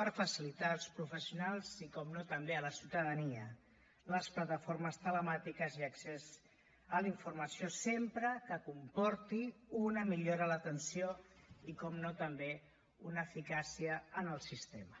per facilitar als professionals i per descomptat també a la ciutadania les plataformes telemàtiques i d’accés a la informació sempre que comporti una millora a l’atenció i també una eficàcia en el sistema